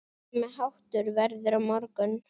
Sami háttur verður á morgun.